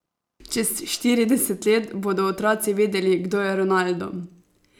Čez štirideset let bodo otroci vedeli, kdo je Ronaldo.